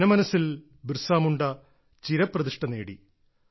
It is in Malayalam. ജനമനസ്സിൽ ബിർസ മുണ്ട ചിരപ്രതിഷ്ഠ നേടി